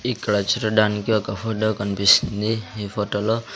ఇక్కడ చూడడానికి ఒక ఫోటో కన్పిస్తుంది ఈ ఫోటో లో--